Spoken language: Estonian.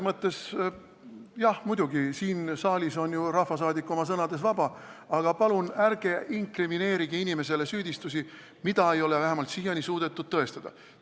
Jah, muidugi, siin saalis on rahvasaadik oma sõnades vaba, aga palun ärge inkrimineerige inimesele süüdistusi, mida ei ole vähemalt siiani suudetud tõestada!